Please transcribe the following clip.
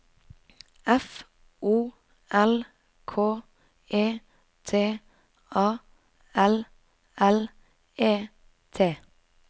F O L K E T A L L E T